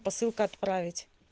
посылка отправить